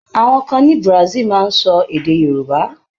Àwọn kan ní Brazil máa ń sọ èdẹ̀ Yorùbá.